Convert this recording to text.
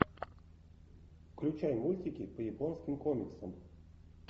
включай мультики по японским комиксам